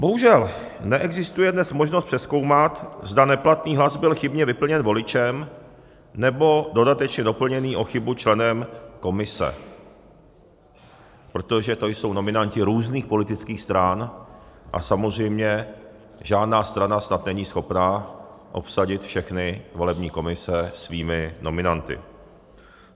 Bohužel neexistuje dnes možnost přezkoumat, zda neplatný hlas byl chybně vyplněn voličem, nebo dodatečně doplněn o chybu členem komise, protože to jsou nominanti různých politických stran a samozřejmě žádná strana snad není schopna obsadit všechny volební komise svými nominanty.